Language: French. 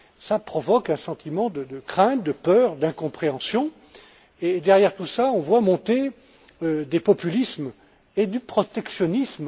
Cela provoque un sentiment de crainte, de peur, d'incompréhension et, derrière tout cela, on voit monter des populismes et du protectionnisme.